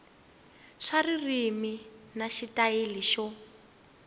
swa ririmi na xitayili xo